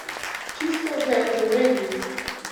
Čisto ga je preuredil!